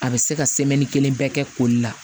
A bɛ se ka kelen bɛɛ kɛ koli la